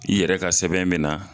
I yɛrɛ ka sɛbɛn me na